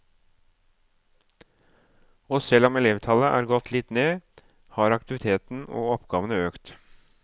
Og selv om elevtallet er gått litt ned, har aktiviteten og oppgavene økt.